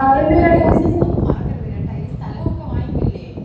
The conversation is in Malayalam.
ഈ യുസസ് നമ്മൾ മറക്കരുത് ഈ സ്ഥലമൊക്കെ വാങ്ങിക്കൂലേ?